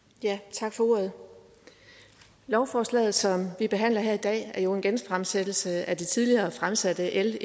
tak for ordet lovforslaget som vi behandler her i dag er jo en genfremsættelse af det tidligere fremsatte l